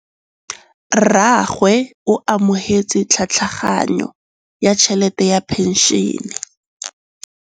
Rragwe o amogetse tlhatlhaganyô ya tšhelête ya phenšene.